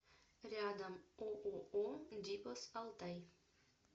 рядом ооо дипос алтай